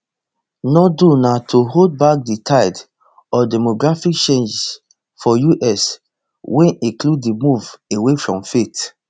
no do na to hold back di tide of demographic change for us wey include di move away from faith